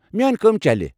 میٲنۍ کٲم چلہِ ۔